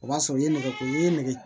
O b'a sɔrɔ i ye nɛgɛ kuru ye i ye nɛgɛ